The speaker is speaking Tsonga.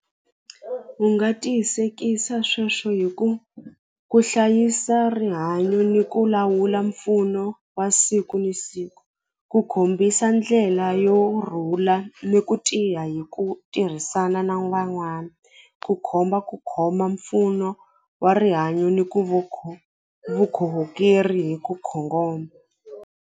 U nga tiyisekisa sweswo hi ku ku hlayisa rihanyo ni ku lawula mpfuno wa siku ni siku ku kombisa ndlela yo rhula ni ku tiya hi ku tirhisana na ku khomba ku khoma mpfuno wa rihanyo ni ku vukhongeri hi .